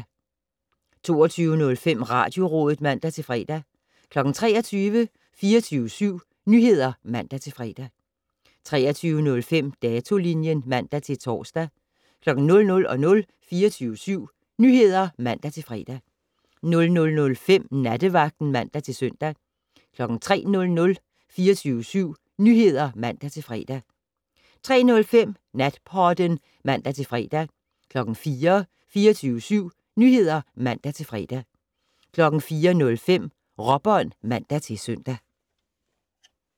22:05: Radiorådet (man-fre) 23:00: 24syv Nyheder (man-fre) 23:05: Datolinjen (man-tor) 00:00: 24syv Nyheder (man-fre) 00:05: Nattevagten (man-søn) 03:00: 24syv Nyheder (man-fre) 03:05: Natpodden (man-fre) 04:00: 24syv Nyheder (man-fre) 04:05: Råbånd (man-søn)